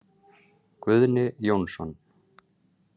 Guðni Jónsson.